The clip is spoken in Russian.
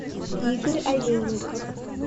игорь олейников